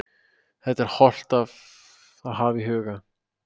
Þetta er hollt að hafa í huga.